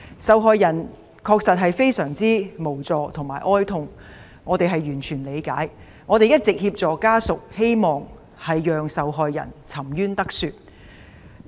受害人確實相當無助，家屬也非常哀痛，我們對此完全理解，亦一直向家屬提供協助，希望受害人沉冤得雪。